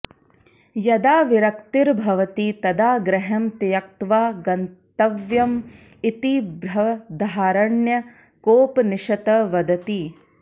यदा विरक्तिर्भवति तदा गृहं त्यक्त्वा गन्तव्यम् इति बृहदारण्य्कोपनिषत् वदति